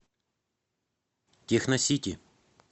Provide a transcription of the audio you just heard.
техносити